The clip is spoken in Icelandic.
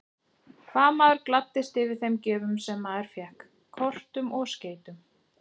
Hvað maður gladdist yfir þeim gjöfum sem maður fékk, kortum og skeytum!